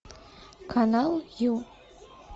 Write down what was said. канал ю